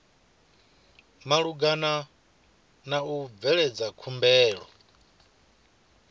malugana na u bveledza khumbelo